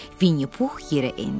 Vinni Pux yerə endi.